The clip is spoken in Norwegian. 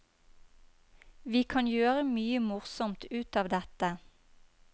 Vi kan gjøre mye morsomt ut av dette.